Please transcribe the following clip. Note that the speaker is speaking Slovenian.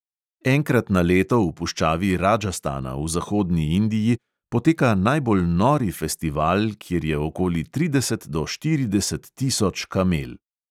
Enkrat na leto v puščavi radžastana v zahodni indiji poteka najbolj nori festival, kjer je okoli trideset do štirideset tisoč kamel.